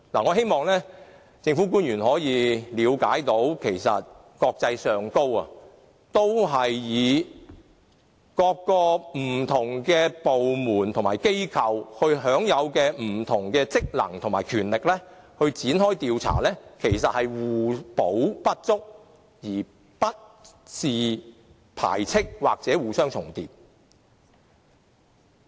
我希望政府官員能夠了解，國際上，各個不同部門和機構均因應不同的職能和權力來展開調查，其實可以互補不足，而不是排斥或互相重疊。